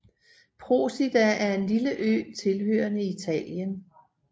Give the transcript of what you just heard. Procida er en lille ø tilhørende Italien